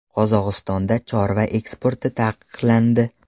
Qozog‘istonda chorva eksporti taqiqlandi.